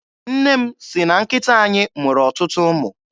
Nne m sị na nkịta anyị mụrụ ọtụtụ ụmụ.